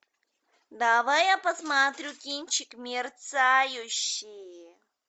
давай я посмотрю кинчик мерцающий